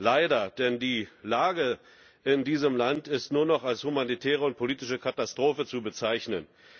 Leider, denn die Lage in diesem Land ist nur noch als humanitäre und politische Katastrophe zu bezeichnen.